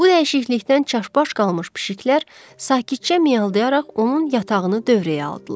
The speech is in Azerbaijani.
Bu dəyişiklikdən çaşbaş qalmış pişiklər sakitcə miyaldıyaraq onun yatağını dövrəyə aldılar.